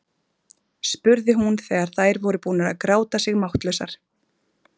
spurði hún þegar þær voru búnar að gráta sig máttlausar.